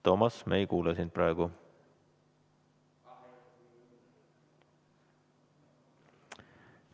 Toomas, me ei kuule sind praegu.